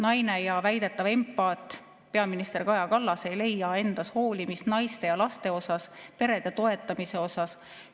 Naine ja väidetav empaat peaminister Kaja Kallas ei leia endas hoolimist naiste ja laste vastu, perede toetamise jaoks.